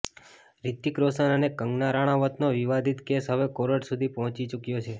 રિતિક રોશન અને કંગના રાણાવત નો વિવાદિત કેસ હવે કોર્ટ સુધી પહોચી ચુક્યો છે